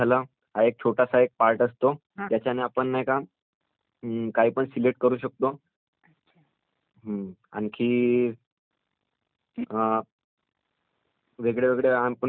ज्याच्याने आपण नाही का...अम्मम्म ...काही पण सिलेक्ट करू शकतो आणखी वेगळे वेगळे आणि पार्टस् पण त्याला जोडू शकतो आज जसं...